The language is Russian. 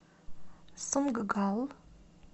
сунггал